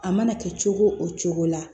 A mana kɛ cogo o cogo la